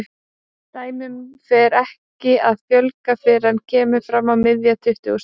Dæmum fer ekki að fjölga fyrr en kemur fram á miðja tuttugustu öld.